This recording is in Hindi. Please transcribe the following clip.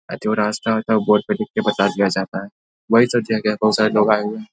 आ जो रास्‍ता होता है उ बोर्ड पे लिख के बता दिया जाता है। बोहोत सारे लाेेग आये हुए हैं।